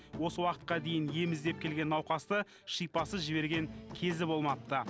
осы уақытқа дейін ем іздеп келген науқасты шипасыз жіберген кезі болмапты